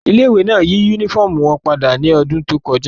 Ile-iwe náa yi unifọmú wọn pada ni ọdun to kọja